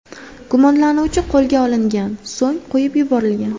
Gumonlanuvchi qo‘lga olingan, so‘ng qo‘yib yuborilgan.